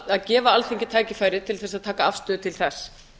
að gefa alþingi tækifæri til að taka afstöðu til þess